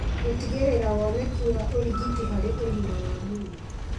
Gũtigĩrĩra woneki wa ũrigiti harĩ ũgima wa mwĩrĩ